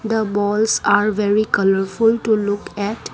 the balls are very colourful to look at.